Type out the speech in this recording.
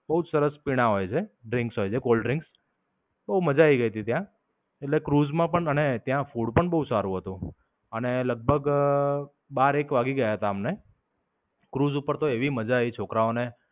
બોવ જ સરસ પીણાં હોય છે. drinks હોય છે, Cold drinks. બોવ મજા આયી ગઈ તી ત્યાં. એટલે ક્રુઝ માં પણ મને ત્યાં food પણ બોવ સારું હતું. અને લગભગ બારેક વાગી ગયા હતા અમને. ક્રુઝ ઉપર તો એવી મજા આયી છોકરાઓને.